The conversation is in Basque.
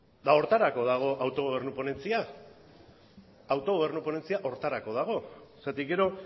eta horretarako dago autogobernu ponentzia autogobernu ponentzia horretarako dago zergatik gero